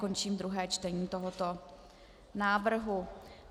Končím druhé čtení tohoto návrhu.